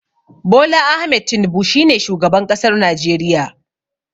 Bola Ahmed Tinibu shine shugaban ƙasar najeriya.